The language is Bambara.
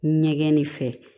Ɲɛgɛn nin fɛ